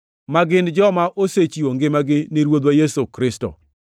ma gin joma osechiwo ngimagi ni Ruodhwa Yesu Kristo.